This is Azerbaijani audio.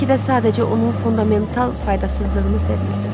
Bəlkə də sadəcə onun fundamental faydasızlığını sevmirirdim.